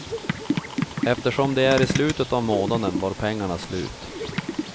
Eftersom det är i slutet av månaden var pengarna slut.